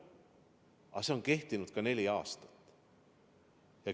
Ja see on kehtinud ka neli aastat.